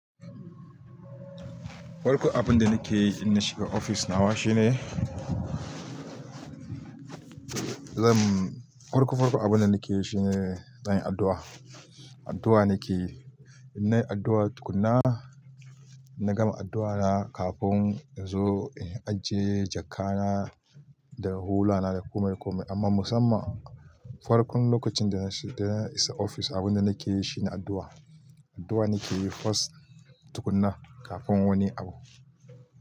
Farkon abun da nake yi idan na shiga ofis nawa shine, zan farko farko abun da nakeyi shine zanyi addu'a. Addu'a nake yi. In nayi addu'a tukuna, na gama addu'a na kafin in zo in ajiye jakka na da hula na da kome, kome. Amma musamman farkon lokacin da na shiga ofis abun da nake yi shine addu'a. Addu'a nake yi first tukuna kafin wani abu.